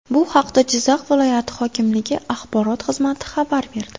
Bu haqda Jizzax viloyati hokimligi axborot xizmati xabar berdi .